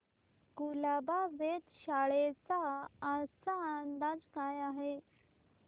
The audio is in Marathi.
कुलाबा वेधशाळेचा आजचा अंदाज काय आहे